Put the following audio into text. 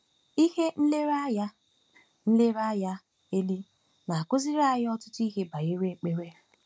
Ihe nlereanya nlereanya eli na-akụziri anyị ọtụtụ ihe banyere ekpere.